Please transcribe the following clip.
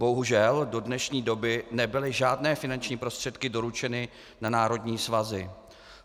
Bohužel do dnešní doby nebyly žádné finanční prostředky doručeny na národní svazy.